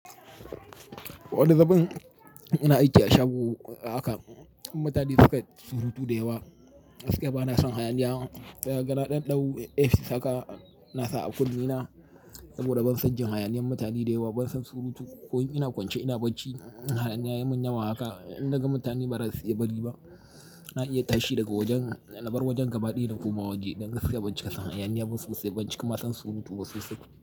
Wani zubin ina aiki a shago haka, mutane suka yi surutu da yawa. Gakiya bana son hayaniya. Kaga na ɗanɗau earpice haka na sa a kunne na saboda ban san jin hayaniyan mutane da yawa ba, ban san surutu. Ko ina kwance ina bacci, hayaniya yayi mun yawa haka, in naga mutane bara su iya bari ba. Na iya tashi daga wajen, na bar wajen gabaɗaya na koma waje. Gaskiya ban cika son hayaniya basu ƙasa baci kuma san surutu ba sosai.